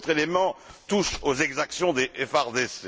Un autre élément touche aux exactions des FARDC.